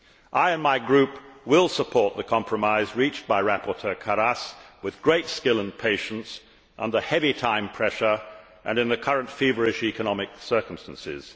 I and my group will support the compromise reached by rapporteur Karas with great skill and patience under heavy time pressure and in the current feverish economic circumstances.